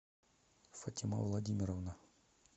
фатима владимировна